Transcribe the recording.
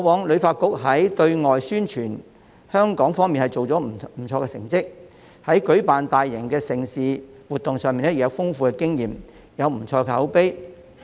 旅發局過往在對外宣傳香港方面的工作確實做到不錯的成績，在舉辦大型盛事和活動上亦有豐富經驗，口碑不錯。